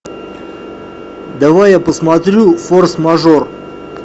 давай я посмотрю форс мажор